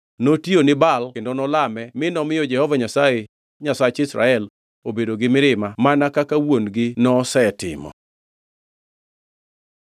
Notiyo ni Baal kendo nolame mi nomiyo Jehova Nyasaye, Nyasach Israel, obedo gi mirima mana kaka wuon-gi nosetimo.